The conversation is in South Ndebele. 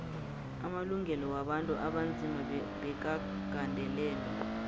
amalungelo wabantu abanzima bekagandelelwe